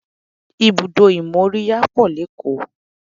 Ibùdó ìmóríyá pọ̀ lékòó